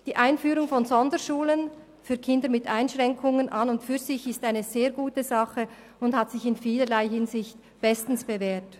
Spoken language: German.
Die Einführung von Sonderschulen für Kinder mit Einschränkungen ist an und für sich eine sehr gute Sache und hat sich in vielerlei Hinsicht bestens bewährt.